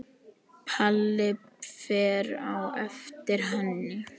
Palli fer á eftir henni.